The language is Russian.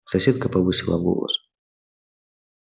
соседка повысила голос